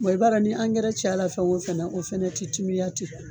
Wa i b'a dɔn, ni ankɛrɛ caya la fɛn o fɛn fana na, o fana tɛ timiya ten.